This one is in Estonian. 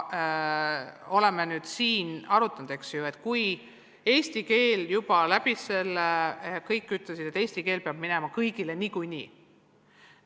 Me oleme asja arutanud ja eesti keel juba läbis selle sõela: kõik ütlesid, et eesti keele test tuleb teha kõigil niikuinii.